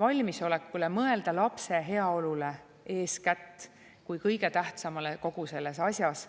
valmisolekule mõelda eeskätt lapse heaolule kui kõige tähtsamale kogu selles asjas.